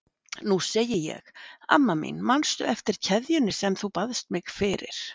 Nú segi ég: Amma mín, manstu eftir kveðjunni sem þú baðst mig fyrir?